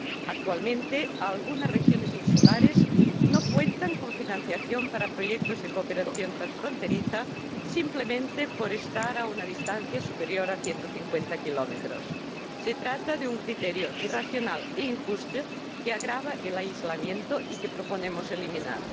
actualmente algunas regiones insulares no cuentan con financiación para proyectos de cooperación transfronteriza simplemente por estar a una distancia superior a 150 km. Se trata de un criterio irracional e injusto que agrava el aislamiento y que proponemos eliminar.